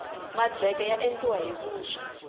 madleke ya endliwa hi vuswa